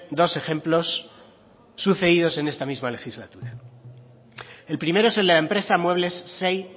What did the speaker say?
dos ejemplos sucedidos en esta misma legislatura el primero es el de la empresa muebles xey